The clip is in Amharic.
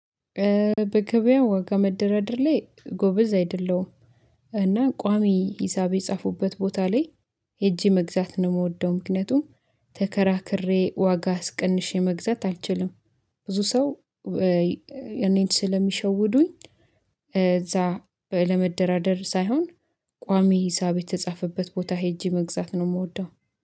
በገበያ ዋጋ መደራደር ላይ ጎበዝ አይደለሁም። እና ቋሚ ሂሳብ የጻፉበት ቦታ ላይ ሄጄ መግዛት ነው የምወደው። ምክንያቱም ተከራክሬ ዋጋ አስቀንሼ መግዛት አልችልም። ብዙ ሰው እኔን ስለሚሸውዱኝ። እዛ ለመደራደር ሳይሆን ቋሚ ሂሳብ የተጻፈበት ቦታ ሄጄ መግዛት ነው የምወደው